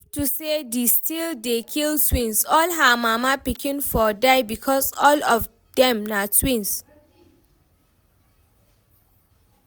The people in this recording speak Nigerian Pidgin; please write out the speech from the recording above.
If to say de still dey kill twins, all her mama pikin for die because all of dem na twins